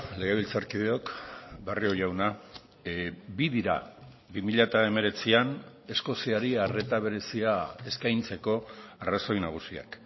legebiltzarkideok barrio jauna bi dira bi mila hemeretzian eskoziari arreta berezia eskaintzeko arrazoi nagusiak